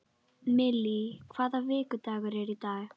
Millý, hvaða vikudagur er í dag?